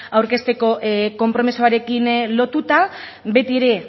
aurkezteko konpromisoarekin lotuta beti ere